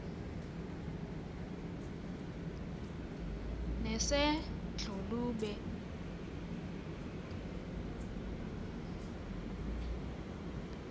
nesedlulube